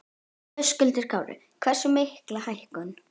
Höskuldur Kári: Hversu mikla hækkun?